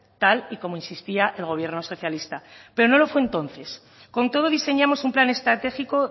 tal y como insistía el gobierno socialista pero no lo fue entonces con todo diseñamos un plan estratégico